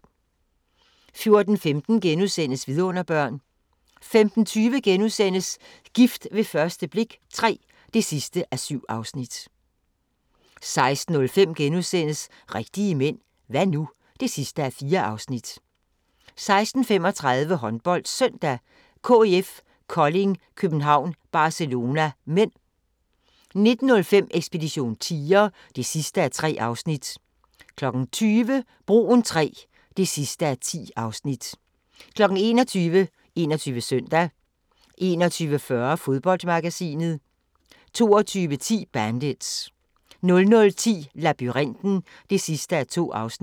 14:15: Vidunderbørn * 15:20: Gift ved første blik III (7:7)* 16:05: Rigtige mænd – hva' nu? (4:4)* 16:35: HåndboldSøndag: KIF Kolding København-Barcelona (m) 19:05: Ekspedition tiger (3:3) 20:00: Broen III (10:10) 21:00: 21 Søndag 21:40: Fodboldmagasinet 22:10: Bandits 00:10: Labyrinten (2:2)